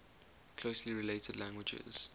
closely related languages